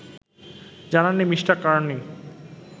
জানাননি Mr: Carney